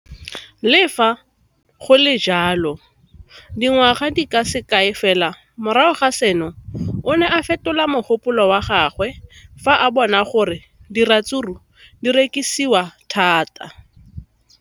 Le fa go le jalo, dingwaga di se kae fela morago ga seno, o ne a fetola mogopolo wa gagwe fa a bona gore diratsuru di rekisiwa thata.